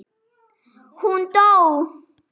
Hún dó!